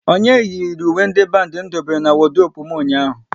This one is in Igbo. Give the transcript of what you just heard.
Onye yiri uwe ndị bandi m dobere n'wodurope m ụnyaahụ?